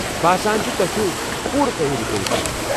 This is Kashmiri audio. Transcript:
باسان چُھ توہہِ چُھو پوٗرٕ تیٲری كرِتھ آمٕتۍ ۔